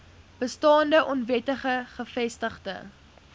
bestaande onwettig gevestigde